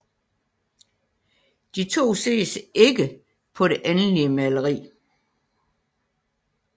De to ses ikke på det endelige maleri